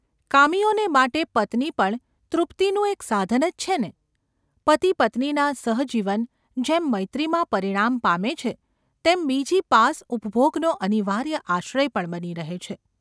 કામીઓને માટે પત્ની પણ તૃપ્તિનું એક સાધન જ છે ને ? પતિપત્નીનાં સહજીવન જેમ મૈત્રીમાં પરિણામ પામે છે તેમ બીજી પાસ ઉપભોગનો અનિવાર્ય આશ્રય પણ બની રહે છે.